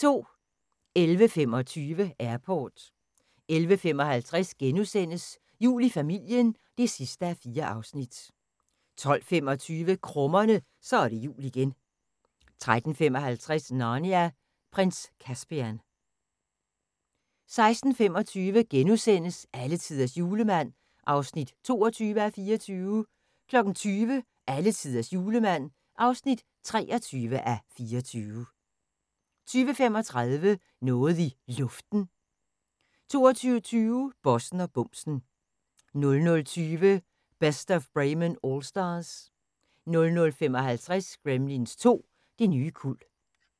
11:25: Airport 11:55: Jul i familien (4:4)* 12:25: Krummerne – Så er det jul igen 13:55: Narnia: Prins Caspian 16:25: Alletiders Julemand (22:24)* 20:00: Alletiders Julemand (23:24) 20:35: Noget i Luften 22:20: Bossen og bumsen 00:20: Best of Bremen Allstars 00:55: Gremlins 2: Det nye kuld